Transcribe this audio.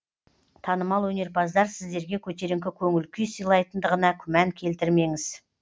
танымал өнерпаздар сіздерге көтеріңкі көңіл күй сыйлайтындығына күмән келтірмеңіз